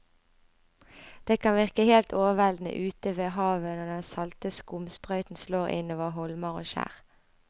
Det kan virke helt overveldende ute ved havet når den salte skumsprøyten slår innover holmer og skjær.